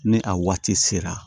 Ni a waati sera